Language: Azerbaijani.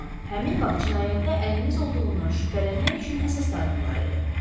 Amma həmin vaxt cinayətdə əliniz olduğundan şübhələnmək üçün əsaslarım var idi.